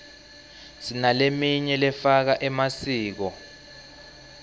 sinaleminy lefaka emasiko